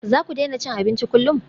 Za ku daina cin abinci kullum?